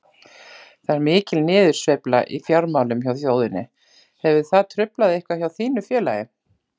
Það er mikil niðursveifla í fjármálum hjá þjóðinni, hefur það truflað eitthvað hjá þínu félagi?